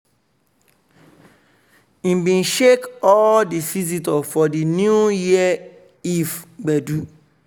he bin shake all di visitor for di new year eve gbedu.